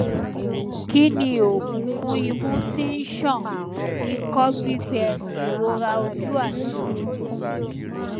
kí ni oògùn fún imú tí ń ṣàn ikọ gbígbẹ ìrora ojú àti orúnkún